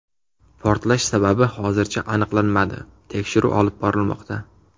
Portlash sababi hozircha aniqlanmadi, tekshiruv olib borilmoqda.